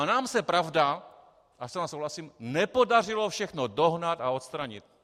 A nám se, pravda, já s vámi souhlasím, nepodařilo všechno dohnat a odstranit.